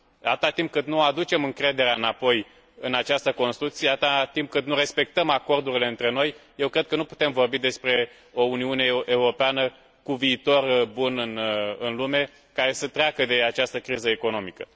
Atâta timp cât nu aducem încrederea înapoi în această construcție, atâta timp cât nu respectăm acordurile între noi, eu cred că nu putem vorbi despre o Uniune Europeană cu viitor bun în lume, care să treacă de această criză economică.